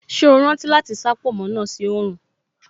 Ṣé o rántí láti sá pònmó náà sí oòrùn